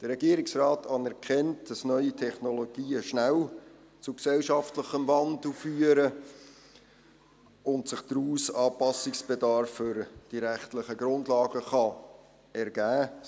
Der Regierungsrat anerkennt, dass neue Technologien schnell zu gesellschaftlichem Wandel führen und sich daraus Anpassungsbedarf für die rechtlichen Grundlagen ergeben kann.